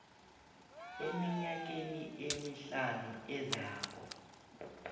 eminyakeni emihlanu ezako